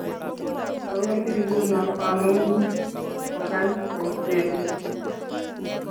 Awendi nguno bamunyi. Kogany boishiet